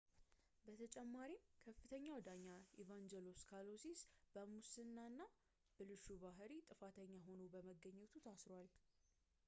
በተጨማሪም ከፍተኛው ዳኛ ኢቫንጀሎስ ካሎሲስ በሙስና እና ብልሹ ባህሪ ጥፋተኛ ሆኖ በመገኘቱ ታስሯል